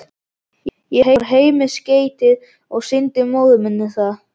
Ég fór heim með skeytið og sýndi móður minni það.